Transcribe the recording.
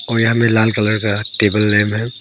और यहां में लाल कलर का टेबल लैंप है।